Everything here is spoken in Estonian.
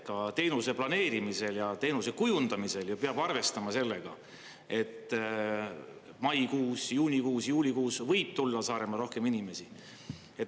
Ka teenuse planeerimisel ja teenuse kujundamisel peab arvestama sellega, et maikuus, juunikuus, juulikuus võib tulla Saaremaale rohkem inimesi.